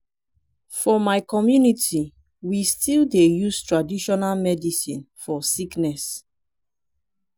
for my community we still dey use traditional medicine for sickness.